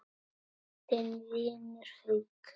Þinn vinur, Haukur.